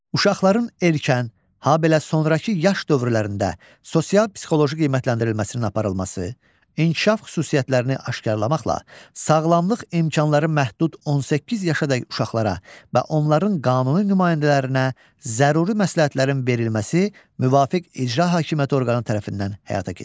Uşaqların erkən, habelə sonrakı yaş dövrlərində sosial-psixoloji qiymətləndirilməsinin aparılması, inkişaf xüsusiyyətlərini aşkarlamaqla sağlamlıq imkanları məhdud 18 yaşadək uşaqlara və onların qanuni nümayəndələrinə zəruri məsləhətlərin verilməsi müvafiq icra hakimiyyəti orqanı tərəfindən həyata keçirilir.